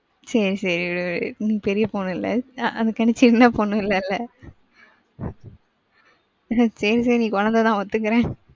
சரி, சேரி நீங்க பெரிய பொண்ணு இல்ல, அதுக்காண்டி சின்ன பொண்ணும் இல்லல. சரி, சரி நீ குழந்தைதான் ஒத்துகிறேன்.